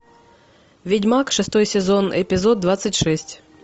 ведьмак шестой сезон эпизод двадцать шесть